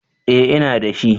eh ina da shi